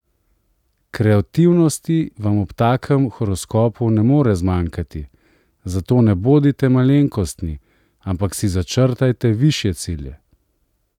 Kreativnosti vam ob takem horoskopu ne more zmanjkati, zato ne bodite malenkostni, ampak si začrtajte višje cilje!